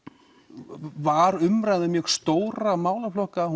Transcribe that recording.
var umræða um mjög stóra málaflokka